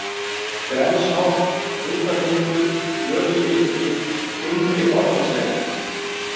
Grensholt, Hrútatindur, Hlöðustykki, Innri-Fornistekkur